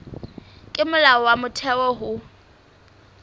ke molao wa motheo ho